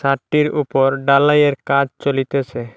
ছাদটির উপর ডালাইয়ের কাজ চলিতেসে।